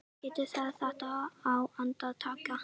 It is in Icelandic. Þú getur gert þetta á andartaki.